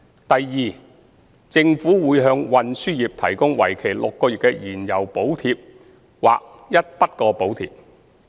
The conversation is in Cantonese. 第二，政府將會向運輸業提供為期6個月的燃料補貼或一筆過補貼。